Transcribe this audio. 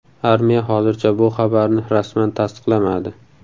Armiya hozircha bu xabarni rasman tasdiqlamadi.